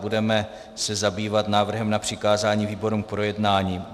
Budeme se zabývat návrhem na přikázání výborům k projednání.